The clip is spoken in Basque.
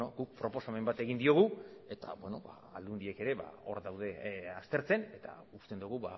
guk proposamen bat egin diogu eta aldundiek ere hor daude aztertzen eta uste dugu